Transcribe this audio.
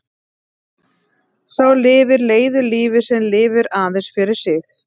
Sá lifir leiðu lífi sem lifir aðeins fyrir sig.